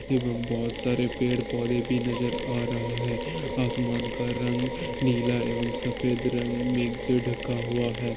एव बहुत सारे पेड़ पोधे भी नज़र आ रहा है | असमान का रंग नीला और सफ़ेद रंग मेग ढका हुआ है।